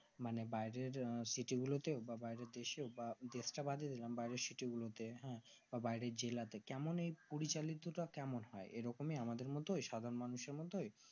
মানে বাইরের city গুলোতেও বা বাইরের দেশেও বা দেশ তা বাদে বাদী দিলাম বাইরের city গুলোতে হ্যাঁ বা বাইরের জেলা তা কেমন এই পরিচালিত তা কেমন হয় এই রকমই আমাদের মতোই সাধারণ মানুষের মতো